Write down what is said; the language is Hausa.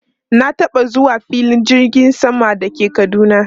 Na taba zuwa filin jirgin sama da ke Kaduna.